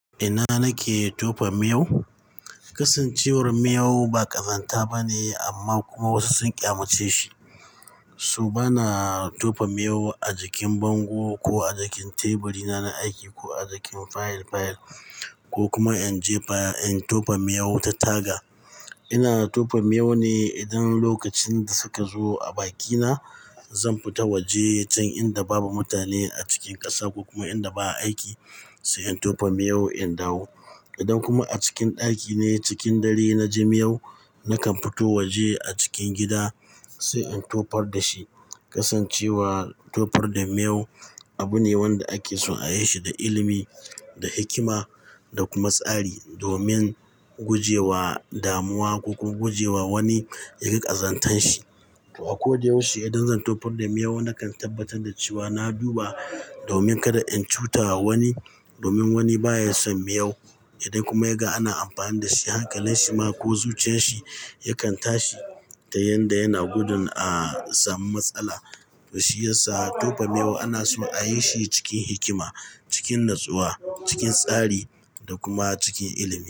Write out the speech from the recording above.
Ina nake tofa miyau? Kasancewar miyau ba ƙazanta ba ne amma kuma wasu sun ƙya maceshi so bana tofa miyau a jikin bango ko a jikin teburi na aiki ko a jikin fayil fayil ko kuma in je in tofa miyau ta taga. Ina tofa miyau ne idan lokacin da suka zo a bakina, zan fita waje can inda babu mutane a cikin ƙasa ko kuma inda ba a aiki sai in tofa miyau in dawo. Idan kuma a cikin ɗaki ne cikin dare na ji miyau, nakan fito waje a cikin gida sai in tofar da shi. Kasancewar tofar da miyau abu ne wanda ake so a yi shi da ilimi, da hikima da kuma tsari domin guje wa damuwa ko kuma guje wa wani ya ga ƙazantar shi. To a ko da yaushe idan zan tofar da miyau nakan tabbatar da cewa na duba domin kada in cutawa wani domin wani baya son miyau. Idan kuma ya ga ana amfani da shi hankalinsa ma ko zuciyar shi yakan tashi ta yadda yana gudun a samu matsala. To shiyasa tofa miyau ana so a yi shi cikin hikima, cikin natsuwa, cikin tsari da kuma cikin ilimi.